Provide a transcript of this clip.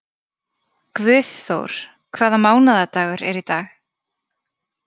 Guðþór, hvaða mánaðardagur er í dag?